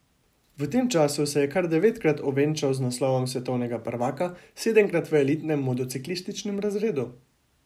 V tem času se je kar devetkrat ovenčal z naslovom svetovnega prvaka, sedemkrat v elitnem motociklističnem razredu.